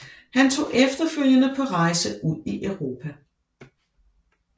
Han tog efterfølgende på rejse ud i Europa